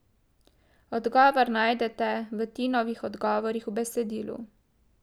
Odgovor najdete v Tinovih odgovorih v besedilu.